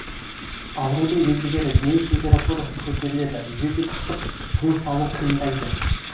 аурудың белгілері дене температурасы көтеріледі жөтел қысып тыныс алу қиындайды